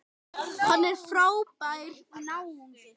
Hann er frábær náungi.